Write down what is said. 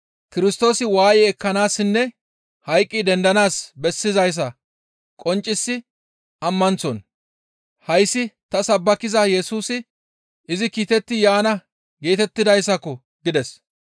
Kirstoosi waaye ekkanaassinne hayqqi dendanaas bessizayssa qonccisi ammanththon, «Hayssi ta sabbakiza Yesusi izi kiitetti yaana geetettidayssako!» gides.